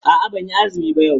A'a ban yi azumi ba yau.